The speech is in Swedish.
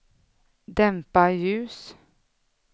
dämpa ljus